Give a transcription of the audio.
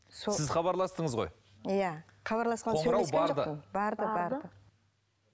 сіз хабарластыңыз ғой иә барды барды барды